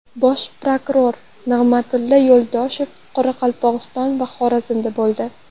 Bosh prokuror Nig‘matilla Yo‘ldoshev Qoraqalpog‘iston va Xorazmda bo‘ldi.